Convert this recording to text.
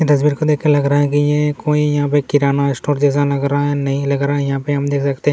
इस तस्वीर को देख कर लग रहा है की ये कोई यहां पर किराना स्टोर जैसा लग रहा है नहीं लग रहा है यहां पर हम देख सकते हैं।